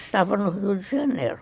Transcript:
Estava no Rio de Janeiro.